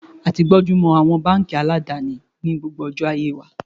A ti gbónjú mọ àwọn báńkì àdáni ní gbogbo ọjọ́ ayé wa.